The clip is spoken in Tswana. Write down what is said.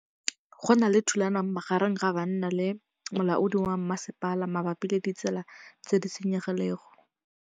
Go na le thulanô magareng ga banna le molaodi wa masepala mabapi le ditsela tse di senyegileng.